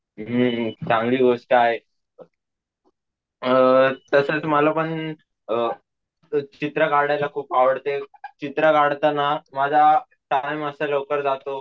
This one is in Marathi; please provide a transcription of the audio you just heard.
हम्म चांगली गोष्ट आहे ना अम तसच मला पण अम चित्र काढायला खूप आवडते, चित्र काढताना माझा अम टाईम असा लवकर जातो